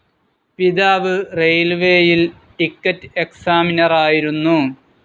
പിതാവ് റെയിൽവേയിൽ ടിക്കറ്റ്സ്‌ ഏക്സാമിനറായിരുന്നു.